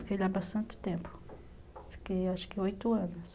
Fiquei lá bastante tempo, acho que oito anos.